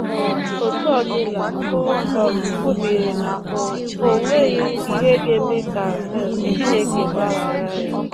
um Etu ọ dịla, o um kwubiri na o o nweghị ihe ga-eme ka um Chineke gbaghara ya.